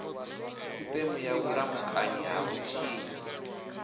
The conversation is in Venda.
sisiteme ya vhulamukanyi ha vhutshinyi